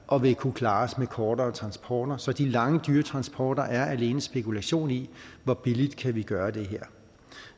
og vil kunne klares med kortere transporter de lange dyretransporter er alene spekulation i hvor billigt man kan gøre det her